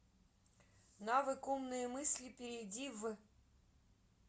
навык умные мысли перейди в